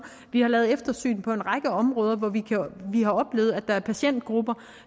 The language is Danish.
vi har lavet eftersyn på en række områder hvor vi har oplevet at der er patientgrupper